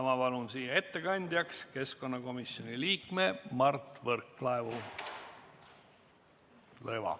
Ma palun siia ettekandjaks keskkonnakomisjoni liikme Mart Võrklaeva.